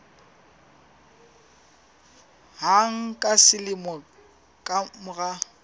hang ka selemo ka mora